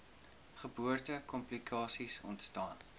geboorte komplikasies ontstaan